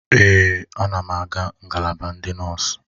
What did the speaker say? Èè, a na m aga na ngalaba ndị nọọsụ.